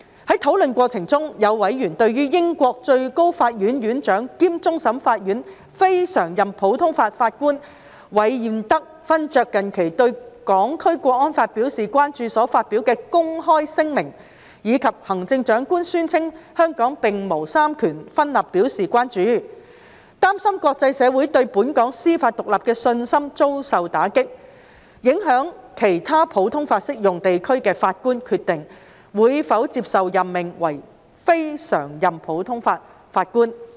在討論過程中，有委員對於英國最高法院院長兼終審法院非常任普通法法官韋彥德勳爵近期對《香港國安法》表達關注所發表的公開聲明，以及行政長官宣稱香港並無三權分立表示關注，擔心國際社會對本港司法獨立的信心遭受打擊，影響其他普通法適用地區的法官決定會否接受任命為非常任普通法法官。